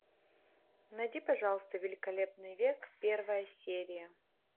найди пожалуйста великолепный век первая серия